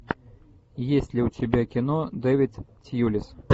есть ли у тебя кино дэвид тьюлис